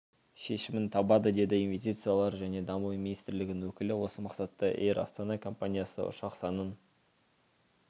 шешімін табады деді инвестициялар және даму министрлігінің өкілі осы мақсатта эйр астана әуекомпаниясы ұшақ санын